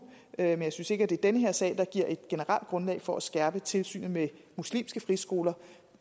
men jeg synes ikke at det er den her sag der giver et generelt grundlag for at skærpe tilsynet med muslimske friskoler